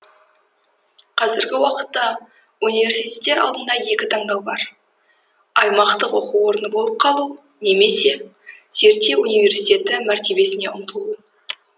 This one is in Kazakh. қазіргі уақытта университеттер алдында екі тандау тұр аймақтық оқу орны болып қалу немесе зерттеу университеті мәртебесіне ұмтылу